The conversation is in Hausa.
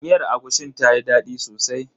Miyar agushin tayi daɗi sosai.